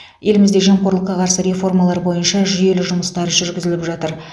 елімізде жемқорлыққа қарсы реформалар бойынша жүйелі жұмыстар жүргізіліп жатыр